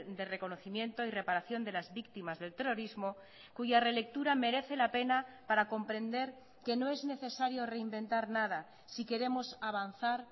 de reconocimiento y reparación de las víctimas del terrorismo cuya relectura merece la pena para comprender que no es necesario reinventar nada si queremos avanzar